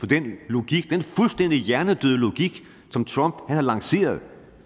den logik den fuldstændig hjernedøde logik som trump har lanceret